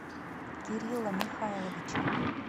кирилла михайловича